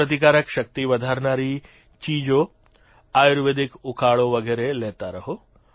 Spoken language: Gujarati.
રોગપ્રતિકારક શક્તિ વધારનારી ચીજો આયુર્વેદિક ઉકાળો વગેરે લેતા રહો